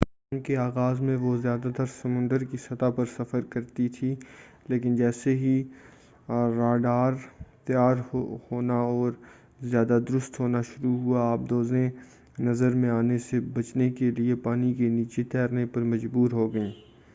جنگ کے آغاز میں وہ زیادہ تر سمندر کی سطح پر سفر کرتی تھی لیکن جیسے ہی راڈار تیار ہونا اور زیادہ درست ہونا شروع ہوا آبدوزیں نظر میں آنے سے بچنے کے لئے پانی کے نیچے جانے پر مجبور ہوگئیں